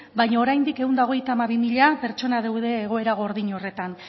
baino oraindik ehun eta hogeita hamabi mila pertsona daude egoera gordin horretan